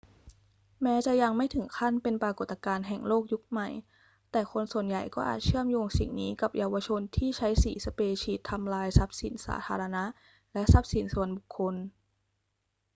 แม้จะยังไม่ถึงขั้นเป็นปรากฏการณ์แห่งโลกยุคใหม่ แต่คนส่วนใหญ่ก็อาจเชื่อมโยงสิ่งนี้กับเยาวชนที่ใช้สีสเปรย์ฉีดทำลายทรัพย์สินสาธารณะและทรัพย์สินส่วนบุคคล